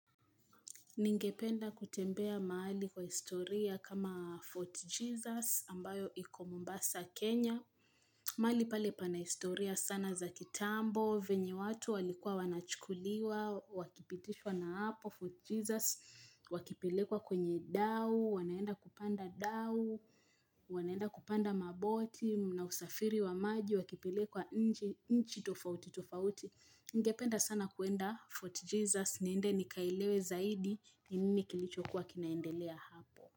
Ningependa kutembea mahali kwa historia kama Fort Jesus ambayo iko mombasa Kenya. Mahali pale pana historia sana za kitambo, venye watu walikuwaa wanachukuliwa, wakipitishwa na hapo Fort Jesus, wakipilekwa kwenye dao, wanaenda kupanda dao, wanaenda kupanda maboti, mnaosafiri wa maji, wakipilekwa nje inchi tofauti tofauti. Ningependa sana kuenda Fort Jesus niende nikaelewe zaidi ni nini kilichokuwa kinaendelea hapo.